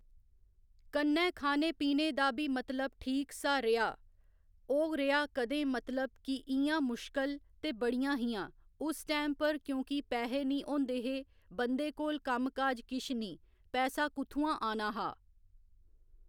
कन्नै खाने पीने दा बी मतलब ठीक सा रेहा ओह् रेहा कदें मतलब कि इयां मुश्कल ते बड़ियां हियां उस टैम पर क्योंकि पैहे निं होंदे हे बंदे कोल कम्म काज किश निं पैसा कुत्थआं आना हा